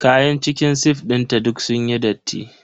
Kayan cikin sif dinta duk sunyi datti.